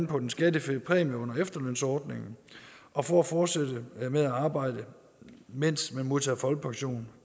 på den skattefri præmie under efterlønsordningen og for at fortsætte med at arbejde mens man modtager folkepension